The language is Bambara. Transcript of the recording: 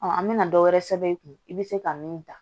an bɛna dɔ wɛrɛ sɛbɛn i kun i bɛ se ka min dan